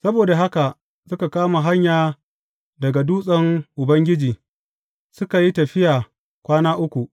Saboda haka suka kama hanya daga dutsen Ubangiji, suka yi tafiya kwana uku.